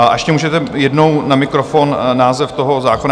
A ještě můžete jednou na mikrofon název toho zákona?